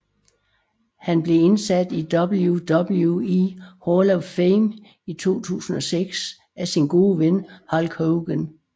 Han blev indsat i WWE Hall of Fame i 2006 af sin gode ven Hulk Hogan